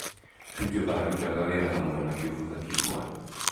Tuju aarutaga wĩra hamwe na Kivutha Kibwana.